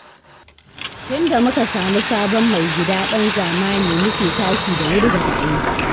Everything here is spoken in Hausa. Tun da muka samu sabon mai gida ɗan zamani muke tashi da wuri daga aiki